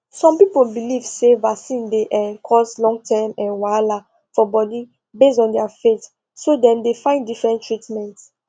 some people believe say vaccine dey um cause longterm um wahala for body based on their faith so dem dey find different treatment